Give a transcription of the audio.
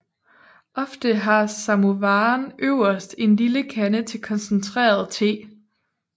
Ofte har samovaren øverst en lille kande til koncentreret te